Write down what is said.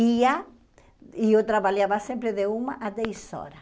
E ah e eu trabalhava sempre de uma a dez horas.